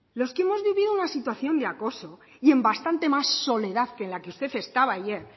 los que hemos vivido una situación de acoso y en bastante más soledad que en la que usted estaba ayer